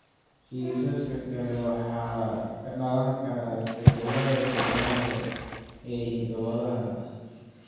Kiisaska kale waxay ka dhalan karaan isbeddellada de novo (isbeddellada cusub) ee hidda-wadaha.